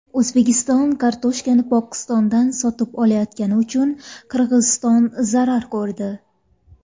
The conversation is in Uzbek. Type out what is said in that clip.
O‘zbekiston kartoshkani Pokistondan sotib olayotgani uchun Qirg‘iziston zarar ko‘rdi.